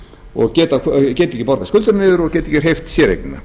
og geta ekki borgað skuldabréfin og geta ekki hreyft séreignina